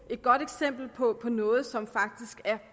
godt eksempel på noget som jo faktisk er